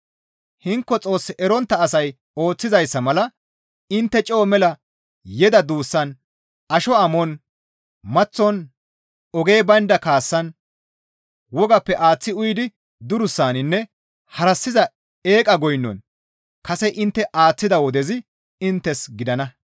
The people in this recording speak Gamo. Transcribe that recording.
Hinko Xoos erontta asay ooththizayssa mala intte coo mela yeda duussan asho amon, maththon, ogey baynda kaassan, wogappe aaththi uyidi durussaninne harassiza eeqa goynon kase intte aaththida wodezi inttes gidana.